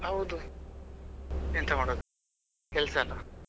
ಹೌದು ಎಂತ ಮಾಡೋದು ಕೆಲಸ ಅಲ.